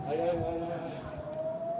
Hey, hey, hey, hey, hey, hey, hey!